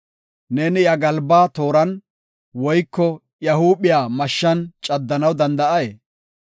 Neeni iya galbaa tooran, woyko iya huuphiya mashshan caddanaw danda7ay?